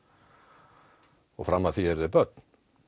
og fram að því eru þau börn